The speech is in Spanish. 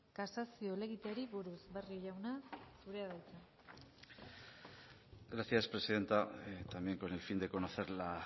kasazio helegiteari buruz barrio jauna zurea da hitza gracias presidenta también con el fin de conocer la